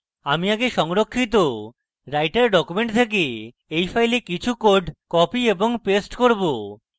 আমি আগে সংরক্ষিত writer document থেকে এই file কিছু code copy এবং paste করব